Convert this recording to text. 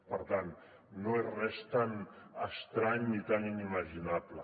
per tant no és res tan estrany ni tan inimaginable